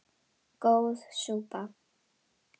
Góð súpa